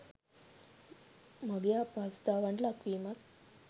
මගියා අපහසුතාවන්ට ලක්වීමත්